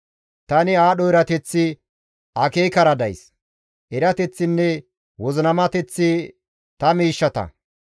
Tani aadho erateththi akeekara days; erateththinne wozinamateththi ta miishshata.